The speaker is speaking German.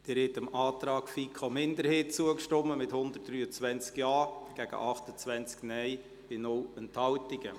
Sie haben dem Antrag FiKo-Minderheit zugestimmt, mit 123 Ja- gegen 28 Nein-Stimmen bei 0 Enthaltungen.